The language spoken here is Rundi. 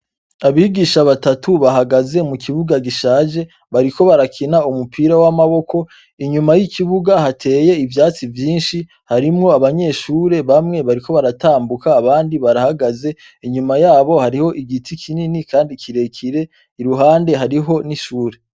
Abigisha batatu bahagaze mu kibuga gishaje bariko barakina umupira w'amaboko inyuma y'ikibuga hateye ivyatsi vyinshi harimwo abanyeshure bamwe bariko baratambuka abandi barahagaze inyuma yabo hariho igiti kinini, kandi kirekire iruhande hariho n'ishure.